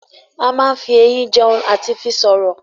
A máa n fí ẹyin jẹun àti fi sọ̀rọ̀